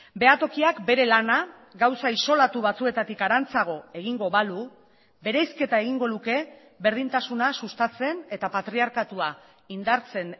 behatokiak bere lana gauza isolatu batzuetatik harantzago egingo balu bereizketa egingo luke berdintasuna sustatzen eta patriarkatua indartzen